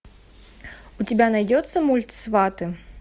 у тебя найдется мульт сваты